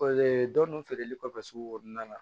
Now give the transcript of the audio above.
dɔnni feereli kɔfɛ sugu kɔnɔna la